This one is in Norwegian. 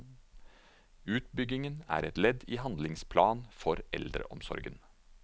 Utbyggingen er et ledd i handlingsplan for eldreomsorgen.